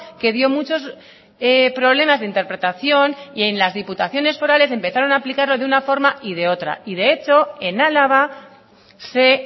que dio muchos problemas de interpretación y en las diputaciones forales empezaron a aplicarlo de una forma y de otra y de hecho en álava se